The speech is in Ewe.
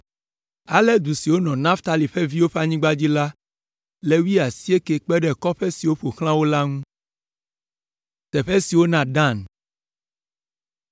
Ale du siwo nɔ Naftali ƒe viwo ƒe anyigba dzi la le wuiasiekɛ kpe ɖe kɔƒe siwo ƒo xlã wo la ŋu.